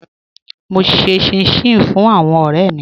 Mo n ṣè chìn-chìn fún àwọn ọ̀rẹ̀ mi